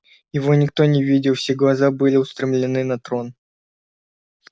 его никто не видел все глаза были устремлены на трон